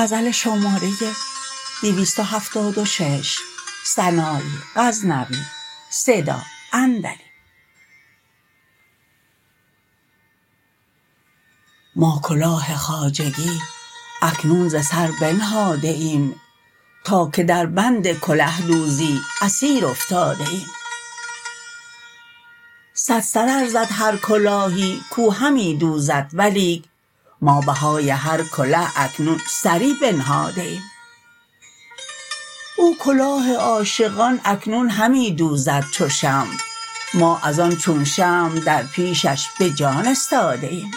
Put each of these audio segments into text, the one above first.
ما کلاه خواجگی اکنون ز سر بنهاده ایم تا که در بند کله دوزی اسیر افتاده ایم صد سر ار زد هر کلاهی کو همی دوزد ولیک ما بهای هر کله اکنون سری بنهاده ایم او کلاه عاشقان اکنون همی دوزد چو شمع ما از آن چون شمع در پیشش به جان استاده ایم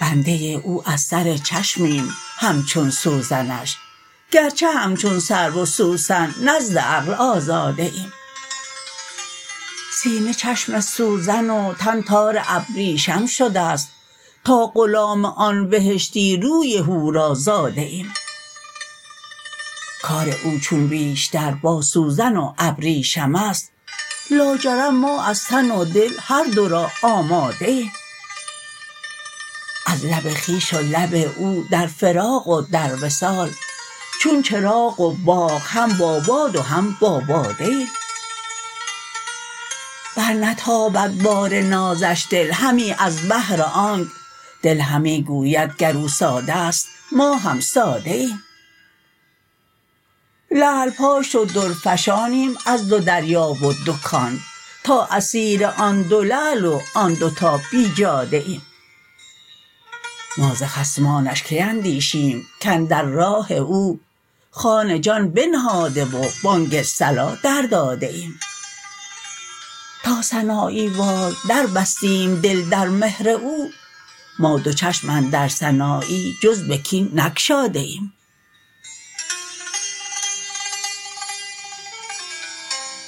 بنده او از سر چشمیم همچون سوزنش گرچه همچون سرو و سوسن نزد عقل آزاده ایم سینه چشم سوزن و تن تار ابریشم شدست تا غلام آن بهشتی روی حورا زاده ایم کار او چون بیشتر با سوزن و ابریشمست لاجرم ما از تن و دل هر دو را آماده ایم از لب خویش و لب او در فراق و در وصال چون چراغ و باغ هم با باد و هم با باده ایم برنتابد بار نازش دل همی از بهر آنک دل همی گوید گر او سادست ما هم ساده ایم لعل پاش و در فشانیم از دو دریا و دو کان تا اسیر آن دو لعل و آن دو تا بیجاده ایم ما ز خصمانش کی اندیشیم کاندر راه او خوان جان بنهاده و بانگ صلا در داده ایم تا سنایی وار دربستیم دل در مهر او ما دو چشم اندر سنایی جز به کین نگشاده ایم